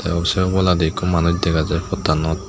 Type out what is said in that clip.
sey oboladi ikko manuj dega jai pottanot.